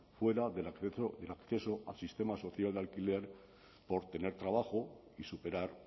fuera del acceso al sistema social de alquiler por tener trabajo y superar